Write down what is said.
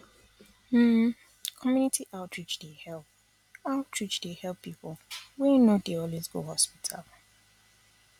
um community outreach dey help outreach dey help people wey no dey um always go hospital